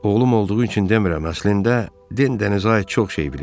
Oğlum olduğu üçün demirəm, əslində Den dənizə aid çox şey bilir.